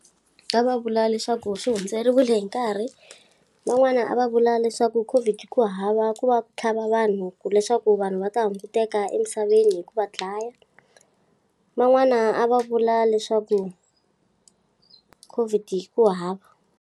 A va vula leswaku swi hundzeriwile hi nkarhi, van'wana a va vula leswaku Covid ku hava ku va ku tlhava vanhu ku leswaku vanhu va ta hunguteka emisaveni hi ku va dlaya. Van'wana a va vula leswaku Covid ku hava.